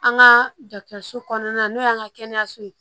An ka dɔgɔtɔrɔso kɔnɔna na n'o y'an ka kɛnɛyaso ye